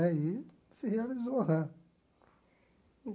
Né e se realizou né.